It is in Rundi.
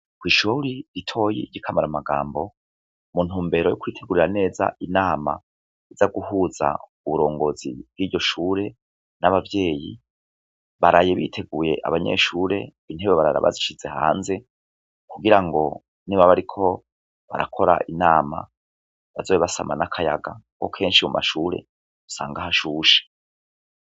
Kw'ishure ritoyi ry'i Kamaramagambo, mu ntumbero yo kwitegurira neza inama iza guhuza uburongozi bw'iryo shure n'abavyeyi, baraye biteguye abanyeshure, intebe barara bazishize hanze, kugira ngo nibaba bariko barakora inama, bazobe basama n'akayaga, kuko kenshi mu mashure usanga hashushe.